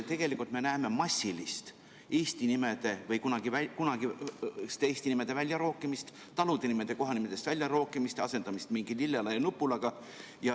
Tegelikult me näeme massilist eesti nimede või kunagiste eesti nimede väljarookimist, talude nimede kohanimede seast väljarookimist, asendamist mingi lillela ja nupulaga.